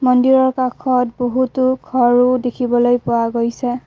মন্দিৰৰ কাষত বহুতো ঘৰো দেখিবলে পোৱা গৈছে।